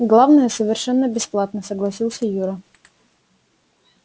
главное совершенно бесплатно согласился юра